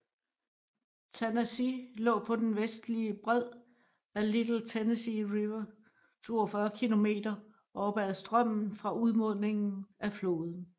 Tanasi lå på den vestlige bred af Little Tennessee River 42 km oppe ad strømmen fra udmundingen af floden